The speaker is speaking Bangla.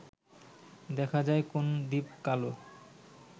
দেখা যায় কোন দ্বীপ-কালো